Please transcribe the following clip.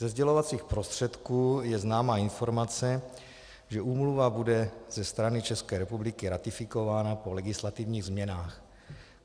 Ze sdělovacích prostředků je známa informace, že úmluva bude ze strany České republiky ratifikována po legislativních změnách.